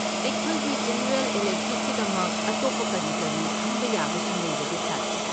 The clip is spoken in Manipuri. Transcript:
ꯑꯩꯈꯣꯏꯒꯤ ꯖꯦꯅꯔꯦꯜ ꯏꯂꯦꯛꯇꯤꯕꯀꯤꯗꯃꯛ ꯑꯇꯣꯞꯄ ꯀꯔꯤ ꯀꯔꯤ ꯈꯟꯕ ꯌꯥꯕꯁꯤꯡ ꯂꯩꯕꯒꯦ ꯁꯥꯔ?